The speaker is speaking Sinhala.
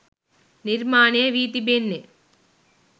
නිර්මාණය වී තිබෙන්නේ.